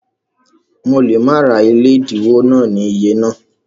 Mo lè má ra ilé ẹlẹ́dínwó náà ní iyẹ yẹn